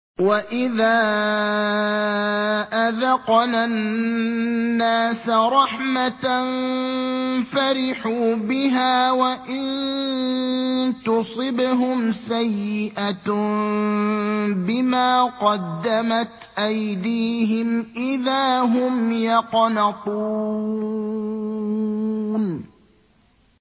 وَإِذَا أَذَقْنَا النَّاسَ رَحْمَةً فَرِحُوا بِهَا ۖ وَإِن تُصِبْهُمْ سَيِّئَةٌ بِمَا قَدَّمَتْ أَيْدِيهِمْ إِذَا هُمْ يَقْنَطُونَ